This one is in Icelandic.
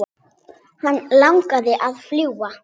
Hann langaði að fljúga.